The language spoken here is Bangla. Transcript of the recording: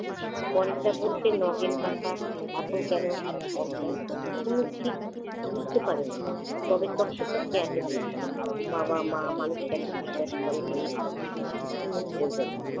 পরেশদা বলতে নগেন কাকা এত কেন অজ্ঞান? তনু ঠিক বুঝতে পারে না। তবে তক্কে তক্কে আছে বৈকি। বাবা-মা মানুষটাকে এতো বিশ্বাস করে কেন? তনু বলবে না।